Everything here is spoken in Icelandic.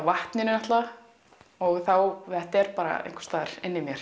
vatninu auðvitað þá þetta er einhvers staðar inni í mér